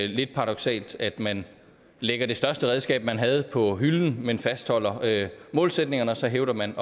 lidt paradoksalt at man lægger det største redskab man havde på hylden men fastholder målsætningerne og så hævder man